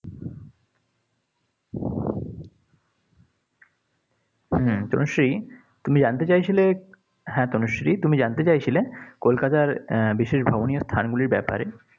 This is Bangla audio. হম তনুশ্রী, তুমি জানতে চাইছিলে, হ্যাঁ তনুশ্রী তুমি জানতে চাইছিলে কলকাতার আহ বিশেষ ভ্রমণীও স্থানগুলির ব্যাপারে।